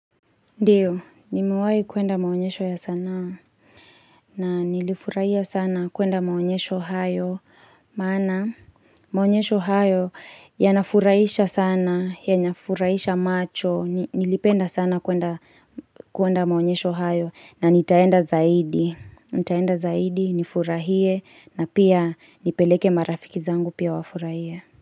Ndiyo, nimewahi kuenda maonyesho ya sanaa. Na nilifurahia sana kuenda maonyesho hayo. Maana, maonyesho hayo ya nafurahisha sana, yanafurahisha macho. Nilipenda sana kuenda maonyesho hayo. Na nitaenda zaidi. Nitaenda zaidi, nifurahie, na pia nipeleke marafiki zangu pia wafurahie.